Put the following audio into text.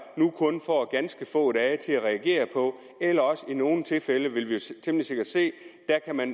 nu kun får ganske få dage til at reagere eller også i nogle tilfælde det vil vi temmelig sikkert se